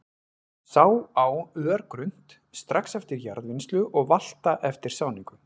Sá á örgrunnt, strax eftir jarðvinnslu og valta eftir sáningu.